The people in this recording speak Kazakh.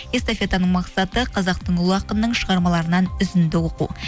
эстафетаның мақсаты қазақтың ұлы ақынының шығармаларынан үзінді оқу